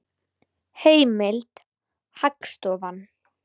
Heimild: Hagstofan.